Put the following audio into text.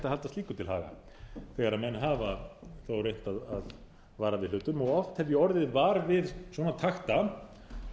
halda slíku til haga þegar menn hafa þó reynt að vara við hlutum oft hef ég orðið var við svona takta